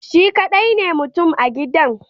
Shi kadai ne mutum a gidan